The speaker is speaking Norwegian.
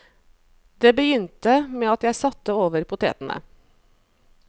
Det begynte med at jeg satte over potetene.